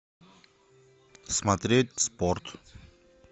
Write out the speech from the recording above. смотреть спорт